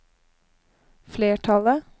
flertallet